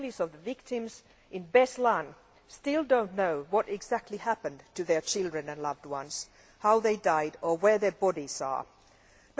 The families of victims in Beslan still do not know what exactly happened to their children and loved ones, how they died or where their bodies are.